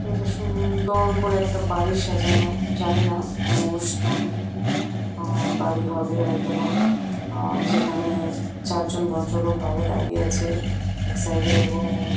এইটা সুন্দর করে একটা বাড়ি সাজানো জানিনা কোনো অনুষ্ঠান আঃ বাড়ি হবে হয়তো বা আঃযেখানে চারজন ভদ্রলোক বাইরে দাঁড়িয়ে আছে এক সাইড এ এবং --